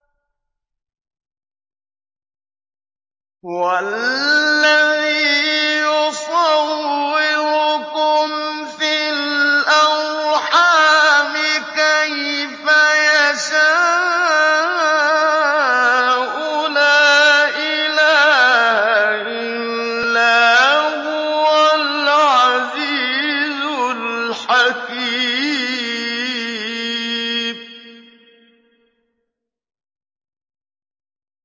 هُوَ الَّذِي يُصَوِّرُكُمْ فِي الْأَرْحَامِ كَيْفَ يَشَاءُ ۚ لَا إِلَٰهَ إِلَّا هُوَ الْعَزِيزُ الْحَكِيمُ